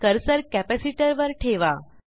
cursor capacitor वर ठेवा